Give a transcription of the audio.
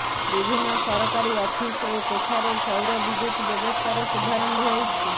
ବିଭିନ୍ନ ସରକାରୀ ଅଫିସ ଓ କୋଠାରେ ସୌରବିଦ୍ୟୁତ ବ୍ୟବସ୍ଥାର ଶୁଭାରମ୍ଭ ହୋଇଛି